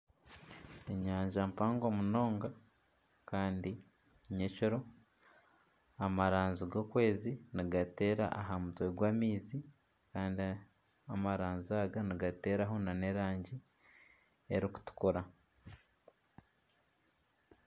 Enyanja mpango munonga kandi nyekiro, amaranzi g'okwezi nigateera aha maizi kandi amaranzi nigateeraho nana erangi erikutukura